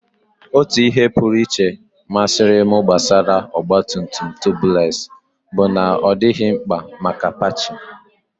Otu ihe pụrụ iche masịrị m gbasara ọgba tum tum Tubeless bụ na ọ dịghị mkpa maka patching.